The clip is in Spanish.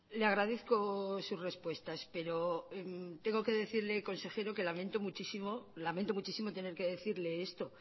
le agradezco sus respuestas pero tengo que decirle consejero que lamento muchísimo tener que decirle esto